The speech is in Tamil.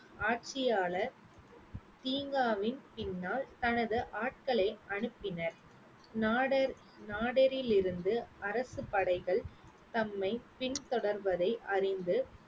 ஆட்சியாளர் தீங்காவின் பின்னால் தனது ஆட்களை அனுப்பினர் நாடர் நாடரிலிருந்து அரசு படைகள் தம்மை பின்தொடர்வதை அறிந்து